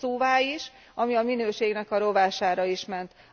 Hosszúvá is, ami a minőségnek a rovására is ment.